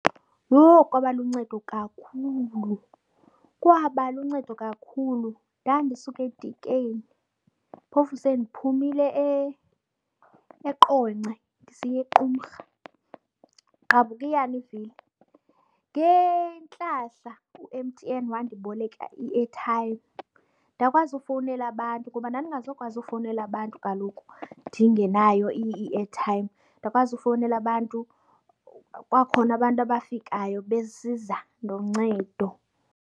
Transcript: Yho kwaba luncedo kakhulu, kwaba luncedo kakhulu. Ndandisuka eDikeni, phofu sendiphumile eQonce ndisiya eQumrha, gqabhukiyani ivili. Ngentlahla u-M_T_N wandiboleka iethayimu ndakwazi ukufowunela abantu, ngoba ndandingazukwazi ukufowunela abantu kaloku ndingenayo iethayimu. Ndakwazi ufowunela abantu, kwakhona abantu abafikayo besiza noncedo.